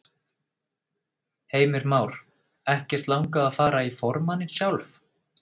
Heimir Már: Ekkert langað að fara í formanninn sjálf?